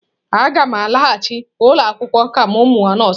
Aga m alaghachi ụlọ akwụkwọ ka m mụọ nọọsụ.